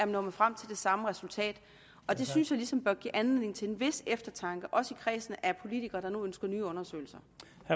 nået frem til det samme resultat og det synes jeg ligesom bør give anledning til en vis eftertanke også i kredsen af politikere der nu ønsker nye undersøgelser